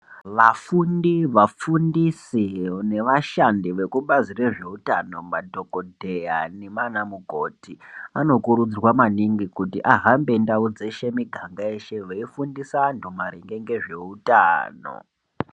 Vafundi vafundisi ne vashandi vekubazi rezve utano madhokodheya nema ana mukoti anokurudzirwa maningi kuti ahambe ndau dzeshe miganga yeshe vei fundisa antu maringe ngezve utano.